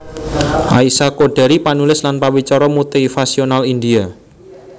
Aisha Choudhary panulis lan pawicara motivasional India